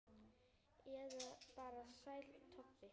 Eða bara Sæll Tobbi?